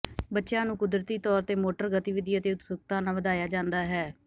ਬੱਚਿਆਂ ਨੂੰ ਕੁਦਰਤੀ ਤੌਰ ਤੇ ਮੋਟਰ ਗਤੀਵਿਧੀ ਅਤੇ ਉਤਸੁਕਤਾ ਨਾਲ ਵਧਾਇਆ ਜਾਂਦਾ ਹੈ